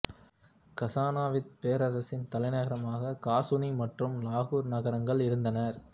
கசானவித்துப் பேரரசின் தலைநகரமாக காசுனி மற்றும் லாகூர் நகரங்கள் இருந்தனர்